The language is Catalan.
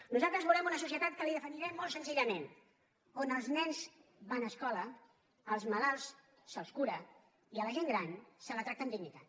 nosaltres volem una societat que li definirem molt senzillament on els nens van a escola als malalts se’ls cura i a la gent gran se la tracta amb dignitat